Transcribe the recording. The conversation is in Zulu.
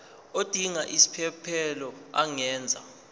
odinga isiphesphelo angenza